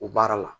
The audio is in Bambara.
O baara la